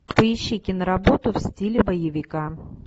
поищи киноработу в стиле боевика